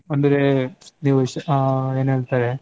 ಅಂದ್ರೆ ನೀವ್ ಶ್~ ಆ ಏನ್ ಹೇಳ್ತಾರೆ,